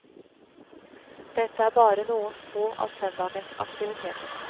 Dette er bare noen få av søndagens aktiviteter.